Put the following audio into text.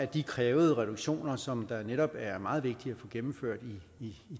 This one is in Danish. de krævede reduktioner som det netop er meget vigtigt at få gennemført i